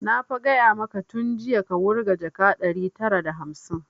Na fa gaya maka tun jiya ka wurga jaka ɗari tara da hamsin!